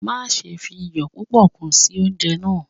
Maṣe fi iyọ pupọ kun si ounjẹ naa